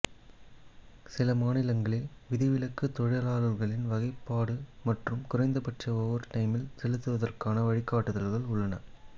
சில மாநிலங்களில் விதிவிலக்கு தொழிலாளர்களின் வகைப்பாடு மற்றும் குறைந்தபட்ச ஓவர் டைமெயில் செலுத்துவதற்கான வழிகாட்டுதல்கள் உள்ளன